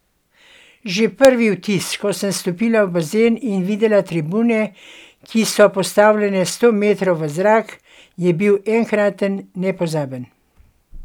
Že prvi vtis, ko sem stopila v bazen in videla tribune, ki so postavljene sto metrov v zrak, je bil enkraten, nepozaben.